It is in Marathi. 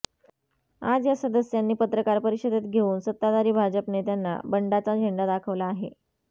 आज या सदस्यांनी पत्रकार परिषदेत घेऊन सत्ताधारी भाजप नेत्यांना बंडाचा झेंडा दाखवला आहे